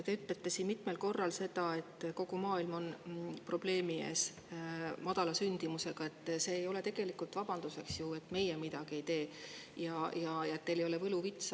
Te ütlesite siin mitmel korral seda, et kogu maailmas on probleeme madala sündimusega – see ei ole ju tegelikult vabanduseks, et meie midagi ei tee – ja teil ei ole võluvitsa.